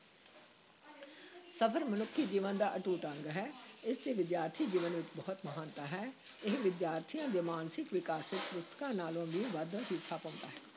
ਸਫ਼ਰ ਮਨੁੱਖੀ ਜੀਵਨ ਦਾ ਅਟੁੱਟ ਅੰਗ ਹੈ, ਇਸ ਦੀ ਵਿਦਿਆਰਥੀ ਜੀਵਨ ਵਿੱਚ ਬਹੁਤ ਮਹਾਨਤਾ ਹੈ, ਇਹ ਵਿਦਿਆਰਥੀਆਂ ਦੇ ਮਾਨਸਿਕ ਵਿਕਾਸ ਵਿਚ ਪੁਸਤਕਾਂ ਨਾਲੋਂ ਵੀ ਵੱਧ ਹਿੱਸਾ ਪਾਉਂਦਾ ਹੈ।